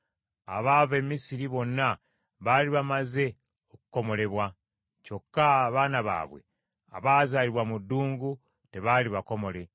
Abaava e Misiri bonna baali bamaze okukomolebwa, kyokka abaana baabwe abaazaalirwa mu ddungu tebaali bakomole.